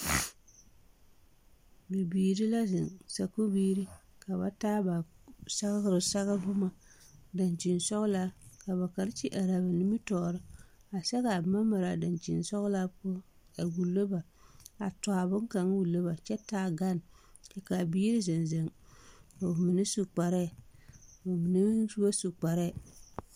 Bibiiri la zeŋ sakuubiiri ka ba taa ba sɛgre sɛge boma daŋkyi sɔglaa ka ba karekyi are ba nimitɔɔre a sɛgɛɛ a boma mare a daŋkyi sɔglaa poɔ a wullo ba a tɔ a boŋkaŋ wullo ba kyɛ taa gane ka a biiri zeŋ zeŋ a su kpare bamine meŋ ba su kparɛɛ.